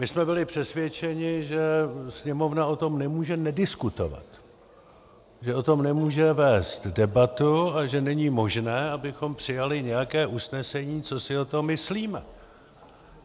My jsme byli přesvědčeni, že Sněmovna o tom nemůže nediskutovat, že o tom nemůže vést debatu a že není možné, abychom přijali nějaké usnesení, co si o tom myslíme.